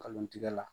Kalon tigɛ la